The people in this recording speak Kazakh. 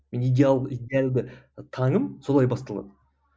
мен идеалды идеалды таңым солай басталады